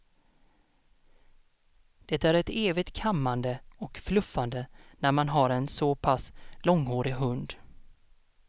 Det är ett evigt kammande och fluffande när man har en så pass långhårig hund.